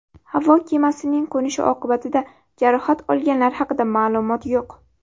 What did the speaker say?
Havo kemasining qo‘nishi oqibatida jarohat olganlar haqida ma’lumot yo‘q.